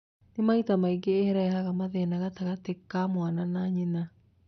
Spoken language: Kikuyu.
Na maita maingĩ nĩĩrehaga mathĩna gatagati wa mwana na nyina